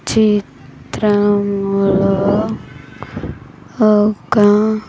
చి త్రములో ఒక.